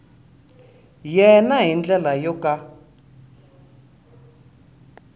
yena hi ndlela yo ka